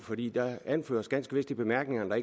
der anføres ganske vist i bemærkningerne at